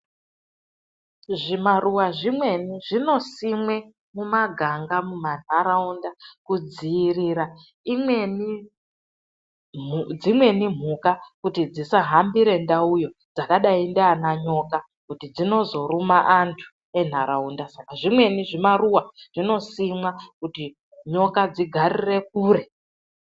Zvimaruva zvimweni zvinosimwe mumaganga mumandaraunda kudzivirira imweni dzimweni mhuka kuti dzisahambira ndauyo dzakadai ndiana nyoka kuti dzinozoruma andu enharaunda saka zvimweni zvimaruva zvinosimwa kuti nyoka dzigarire kure.